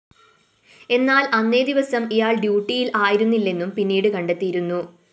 എന്നാല്‍ അന്നേ ദിവസം ഇയാള്‍ ഡ്യുട്ടിയില്‍ ആയിരുന്നില്ലെന്നും പിന്നീട് കണ്ടെത്തിയിരുന്നു